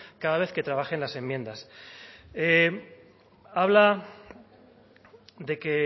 cada vez que trabajen las enmiendas habla de que